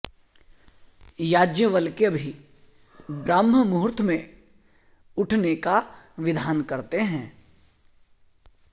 याज्ञवल्क्य भी ब्राह्म मुहूर्त में उठने का विधान करते हैं